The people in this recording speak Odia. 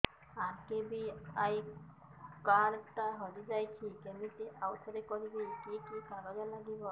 ଆର୍.କେ.ବି.ୱାଇ କାର୍ଡ ଟା ହଜିଯାଇଛି କିମିତି ଆଉଥରେ କରିବି କି କି କାଗଜ ଲାଗିବ